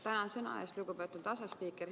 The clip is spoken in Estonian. Tänan sõna eest, lugupeetud asespiiker!